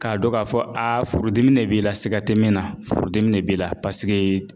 K'a dɔn k'a fɔ furudimi de b'i la siga tɛ min na furudimi de b'i la paseke